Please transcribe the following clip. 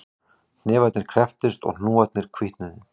Hnefarnir krepptust og hnúarnir hvítnuðu